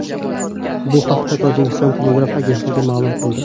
Bu haqda Tojikiston telegraf agentligi ma’lum qildi .